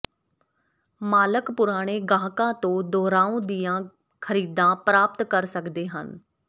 ਮਾਲਕ ਪੁਰਾਣੇ ਗਾਹਕਾਂ ਤੋਂ ਦੁਹਰਾਉਂ ਦੀਆਂ ਖਰੀਦਾਂ ਪ੍ਰਾਪਤ ਕਰ ਸਕਦੇ ਹਨ